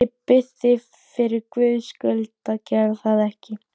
Ég bið þig fyrir Guðs skuld að gera það ekki!